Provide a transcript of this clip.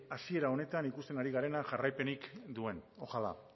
hasiera honetan ikusten ari garena jarraipenik duen ojalá